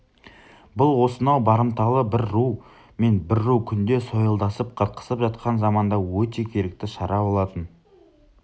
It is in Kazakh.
бұл осынау барымталы бір ру мен бір ру күнде сойылдасып қырқысып жатқан заманда өте керекті шара болатын